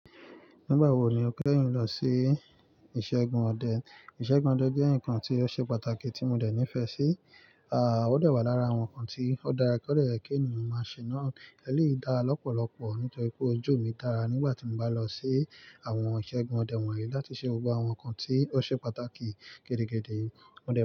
Nígbà wo ni o kẹ́yín lọ sí ìṣẹ́gun ọdẹ? Ìṣẹ́gun ọdẹ jẹ́ ǹkan tí ó ṣe pàtàkì tí mo dẹ̀ nífẹ̀ẹ́ sí, ó dẹ̀ wà lára àwọn ǹkan tí ó dáa kóde yẹ̀ kí ènìyàn máa ṣe náà. Ẹlèyi dára lọ́pọ̀lọpọ̀ nítorí pé ojú mi dára nígbà tí mo bá lọ sí àwọn ìṣẹ́gun ọdẹ wọ̀nyí láti ṣe gbogbo àwọn ǹkan tí ó ṣe pàtàkì gidigidi. Ọdẹ.